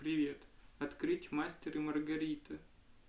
привет открыть мастер и маргарита